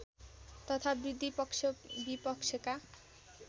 तथा वृद्धि पक्षविपक्षका